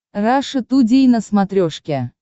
раша тудей на смотрешке